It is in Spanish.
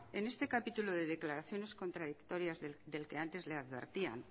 en este capítulo de declaraciones contradictorias del que antes le advertían